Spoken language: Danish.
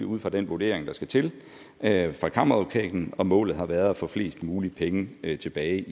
ud fra den vurdering der skal til af kammeradvokaten og at målet har været at få flest mulige penge tilbage